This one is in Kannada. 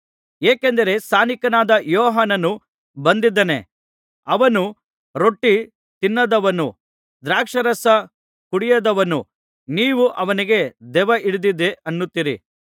ಏಕೆಂದರೆ ಸ್ನಾನಿಕನಾದ ಯೋಹಾನನು ಬಂದಿದ್ದಾನೆ ಅವನು ರೊಟ್ಟಿ ತಿನ್ನದವನು ದ್ರಾಕ್ಷಾರಸ ಕುಡಿಯದವನು ನೀವು ಅವನಿಗೆ ದೆವ್ವ ಹಿಡಿದದೆ ಅನ್ನುತ್ತೀರಿ